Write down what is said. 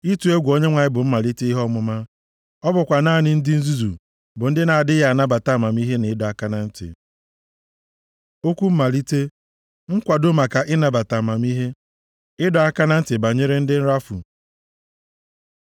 Ịtụ egwu Onyenwe anyị bụ mmalite ihe ọmụma. + 1:7 \+xt Ilu 9:10; Ilu 15:33; Ekl 12:13\+xt* Ọ bụkwa naanị ndị nzuzu bụ ndị na-adịghị anabata amamihe na ịdọ aka na ntị. Okwu mmalite: Nkwado maka ịnabata amamihe Ịdọ aka na ntị banyere ndị nrafu